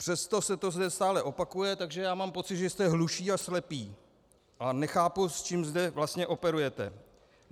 Přesto se to zde stále opakuje, takže já mám pocit, že jste hluší a slepí, a nechápu, s čím zde vlastně operujete.